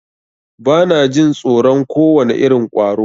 Bana jin tsoron kowane irin ƙwaro.